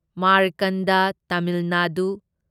ꯃꯥꯔꯀꯟꯗ Tamil Nadu